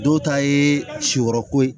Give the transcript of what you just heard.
Dɔw ta ye siyɔrɔ ko ye